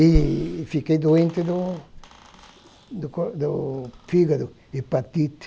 E fiquei doente do do co do fígado, hepatite.